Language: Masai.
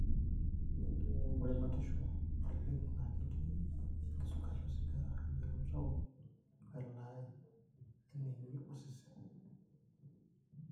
ore batisho oleng naa ketii, engisugata osigara, empiron sapuk, we laai eneengi osesen.